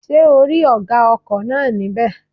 Ṣé ò rí ọ̀gá ọkọ̀ náà ní bẹ̀?